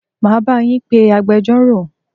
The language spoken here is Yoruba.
Máa bá yín pé agbẹjọ́rò.